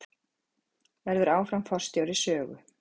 Verður áfram forstjóri Sögu